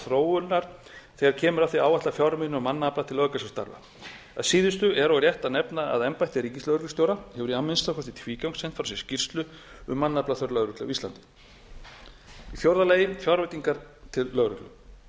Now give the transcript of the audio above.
þróunar þegar kemur að því að áætla fjármuni og mannafla til löggæslustarfa að síðustu er og rétt að nefna að embætti ríkislögreglustjóra hefur í að minnsta kosti tvígang sent frá sér skýrslu um mannaflaþörf lögreglu á íslandi fjórða fjárveitingar til lögreglu